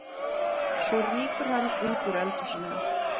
Svo rýkur hann út úr eldhúsinu.